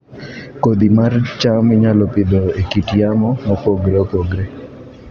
Kodhi mar cham inyalo Pidho e kit yamo mopogore opogore